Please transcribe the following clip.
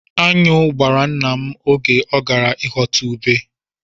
Aṅụ gbara nna m oge ọ gara ịghọta ube.